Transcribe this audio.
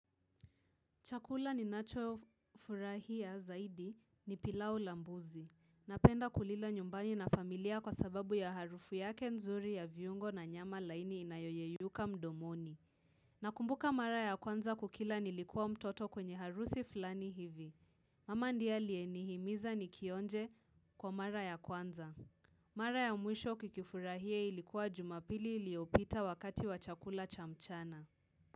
Chakula ninacho furahia zaidi ni pilau la mbuzi. Napenda kulila nyumbani na familia kwa sababu ya harufu yake nzuri ya viungo na nyama laini inayoyeyuka mdomoni. Nakumbuka mara ya kwanza kukila nilikuwa mtoto kwenye harusi fulani hivi. Mama ndia aliyenihimiza nikionje kwa mara ya kwanza. Mara ya mwisho kikifurahie ilikuwa jumapili iliopita wakati wa chakula cha mchana.